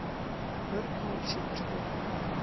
Mörg mál séu til skoðunar